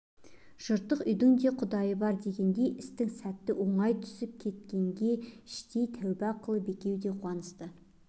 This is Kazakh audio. жыртық үйдің де құдайы бар дегендей істің сәті оңай түсіп кеткенге іштей тәуба қылып екеуі де қуанысты